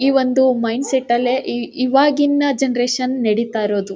ಈ ಒಂದು mind set ಅಲ್ಲೇ ಇವಾಗಿನ ಜನರೇಷನ್ ನಡಿತಾ ಇರೋದು.